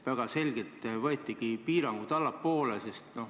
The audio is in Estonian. Väga selgelt lasti piirmäärasid allapoole.